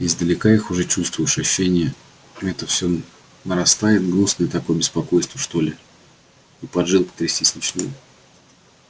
издалека их уже чувствуешь и ощущение это всё нарастает гнусное такое беспокойство что ли и поджилки трястись начинают